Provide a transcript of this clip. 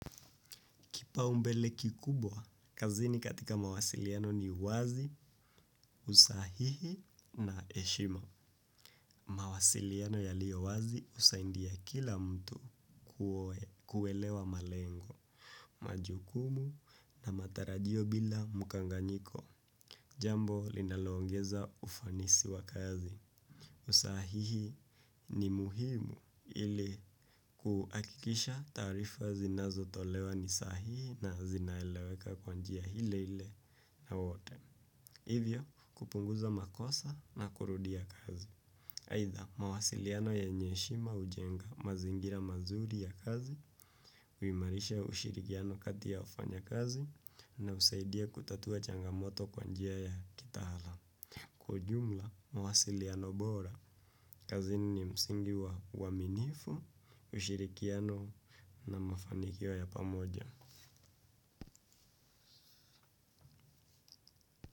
Kipau mbele kikubwa, kazini katika mawasiliano ni uwazi, usahihi na heshima. Mawasiliano yalio wazi husaidia kila mtu kuelewa malengo, majukumu na matarajio bila mukanganyiko. Jambo linaloongeza ufanisi wa kazi. Usahihi ni muhimu ili kuhakikisha taarifa zinazo tolewa ni sahihi na zinaeleweka kwanjia ile ile na wote. Hivyo kupunguza makosa na kurudia kazi aitha mawasiliano yenye heshima ujenga mazingira mazuri ya kazi. Uimarisha ushirikiano kati ya wafanyakazi na husaidia kutatua changamoto kwanjia ya kitaalam. Kwa ujumla mawasiliano bora kazini ni msingi wa uaminifu, ushirikiano na mafanikio ya pamoja.